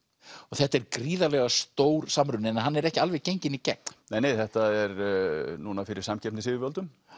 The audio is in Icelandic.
og þetta er gríðarlega stór samruni en hann er ekki alveg genginn í gegn nei nei þetta er núna fyrir samkeppnisyfirvöldum